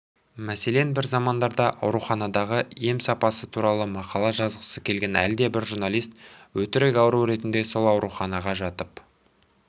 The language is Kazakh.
мәселен бір замандарда ауруханадағы ем сапасы туралы мақала жазғысы келген әлдебір журналист өтірік ауру ретінде сол ауруханаға жатып